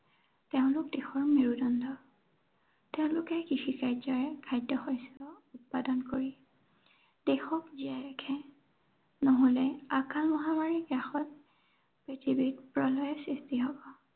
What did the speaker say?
তেওঁলোক দেশৰ মেৰুদণ্ড। তেওঁলোকে কৃষি কাৰ্যৰে খাদ্য় শস্য় উৎপাদন কৰি, দেশক জীয়াই ৰাখে। নহলে আকাল মহামাৰীত দেশত পৃথিৱীত প্ৰলয়ৰ সৃষ্টি হব।